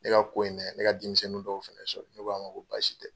Ne ka ko in dɛ ne ka denmisɛnnin dɔw fɛnɛ sɔrɔ ne ko a ma ko basi tɛ.